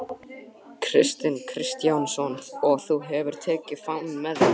Kristján Kristjánsson: Og þú hefur tekið fánann með þér?